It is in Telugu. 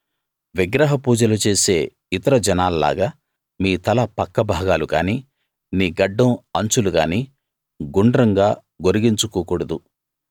విగ్రహ పూజలు చేసే ఇతర జనాల్లాగా మీ తల పక్క భాగాలు గానీ నీ గడ్డం అంచులు గానీ గుండ్రంగా గొరిగించుకోకూడదు